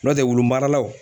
N'o tɛ wulumaralaw